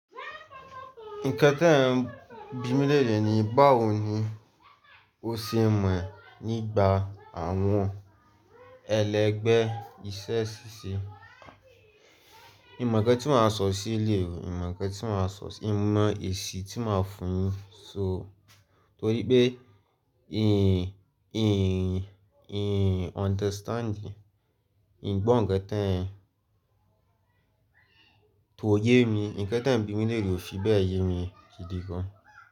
Nǹkan tí ẹ̀ ń bímí lẹ̀rẹ ni báwo ni ó ṣe mọ̀ nígbà àwọn ẹlẹgbẹ́ iṣẹ́ ṣíṣe. N mọ̀ ńkẹ́ tí màá sọ sí ilé rẹ, n mọ̀ ńkẹ́ tí màá sọ, n mọ èsì tí màá fún un. So torí pé ehn, ehn, ehn understanding, n gbọ́ ǹkan tí ẹ̀ ń, ko yé mi, ǹkan tí ẹ̀ ń bímílẹ̀ rẹ ò fi bẹ́ẹ̀ yé mi di gan.